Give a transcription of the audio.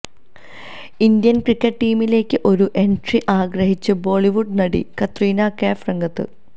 Indian cricket ടീമിലേക്ക് ഒരു entry ആഗ്രഹിച്ച് ബോളിവുഡ് നടി കത്രീന കൈഫ് രംഗത്ത്